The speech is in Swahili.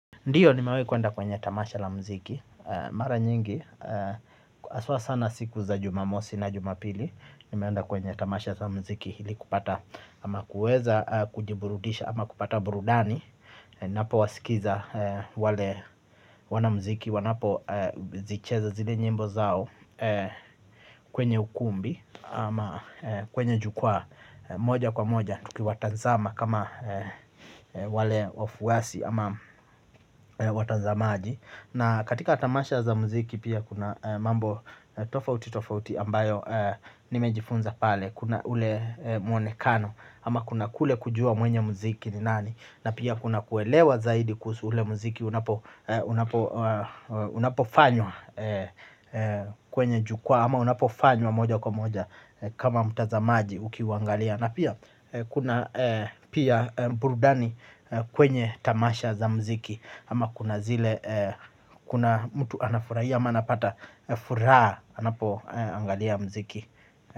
Ndio, nimewahi kwenda kwenye tamasha la mziki mara nyingi. Haswa sana siku za Jumamosi na Jumapili, nimeenda kwenye tamasha la mziki ili kupata ama kuweza kujiburudisha ama kupata burudani. Ninapowasikiza wale wanamziki wanapozicheza zile nyimbo zao. Kwenye ukumbi ama kwenye jukwaa. Moja kwa moja tukiwatanzama kama wale wafuasi ama watazamaji. Na katika tamasha za mziki pia kuna mambo tofauti tofauti ambayo nimejifunza pale. Kuna ule mwonekano ama kuna kule kujua mwenye mziki ni nani, na pia kuna kuelewa zaidi kuhusu ule mziki unapofanywa. Kwenye jukwaa ama unapofanywa moja kwa moja kama mtazamaji nikiuangalia. Na pia, kuna pia burudani kwenye tamasha za mziki ama kuna zile kuna mtu anafurahia ama anapata furaha anapoangalia mziki.